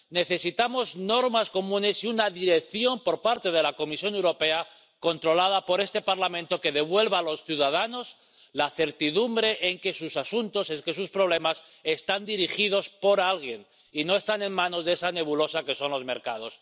Necesitamos normas comunes y una dirección por parte de la Comisión Europea, controlada por este Parlamento, que devuelva a los ciudadanos la certidumbre de que sus asuntos, de que sus problemas, están dirigidos por alguien, y no están en manos de esa nebulosa que son los mercados.